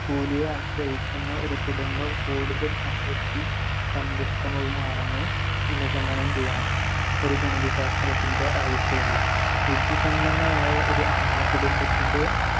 കൂലിയെ ആശ്രയിക്കുന്ന ഒരു കുടുംബം കൂടുതൽ സംതൃപ്തി സന്തുഷ്ടവുമാണെന്ന് നിഗമനം ചെയ്യാൻ ഒരു ഗണിതശാസ്ത്രത്തിന്‍റെ ആവശ്യമില്ല. വിദ്യാസമ്പന്നയായ ഒരു അമ്മ കുടുംബത്തിന്‍റെ